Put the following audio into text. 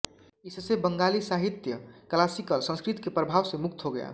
इससे बंगाली साहित्य क्लासिकल संस्कृत के प्रभाव से मुक्त हो गया